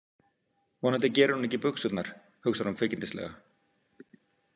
Vonandi gerir hún ekki í buxurnar, hugsar hún kvikindislega.